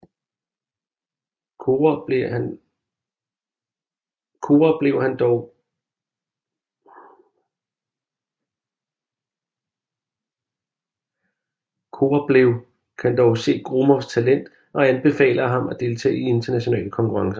Korablev kan dog se Gromovs talent og anbefaler ham at deltage i internationale konkurrencer